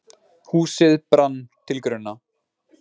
Húsið brann til grunna